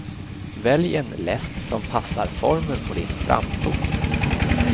Välj en läst som passar formen på din framfot.